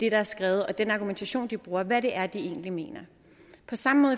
er skrevet og den argumentation de bruger hvad det egentlig er de mener på samme måde